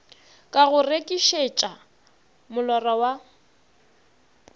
ka go rekišetša molora wa